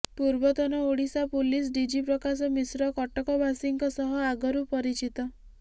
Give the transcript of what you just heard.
ପୂର୍ବତନ Odisha police DG Prakash Mishra କଟକବାସୀଙ୍କ ସହ ଆଗରୁ ପରିଚିତ